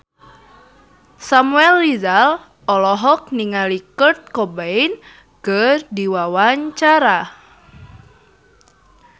Samuel Rizal olohok ningali Kurt Cobain keur diwawancara